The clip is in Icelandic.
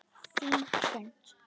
Þín Hrund.